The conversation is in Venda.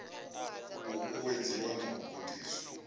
u uwedziwe na u gudiswa